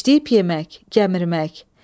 Dişləyib yemək, gəmirmək.